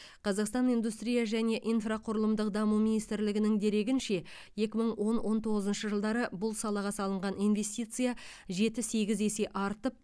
қазақстан индустрия және инфрақұрылымдық даму министрлігінің дерегінше екі мың он он тоғызыншы жылдары бұл салаға салынған инвестиция жеті сегіз есе артып